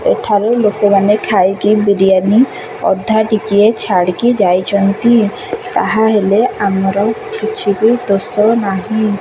ଏଠାରେ ଲୋକମାନେ ଖାଇକି ବିରୀୟାନି ଅଧା ଟିକିଏ ଛାଡ଼ିକି ଯାଇଚନ୍ତି ତା ହେଲେ ଆମର କିଛି ବି ଦୋଷ ନାହିଁ।